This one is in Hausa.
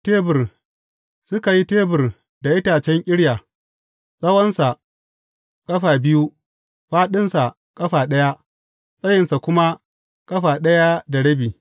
Tebur Suka yi tebur da itacen ƙirya, tsawonsa ƙafa biyu, fāɗinsa ƙafa ɗaya, tsayinsa kuma ƙafa ɗaya da rabi.